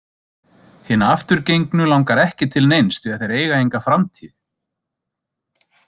Hina afturgengnu langar ekki til neins því að þeir eiga enga framtíð.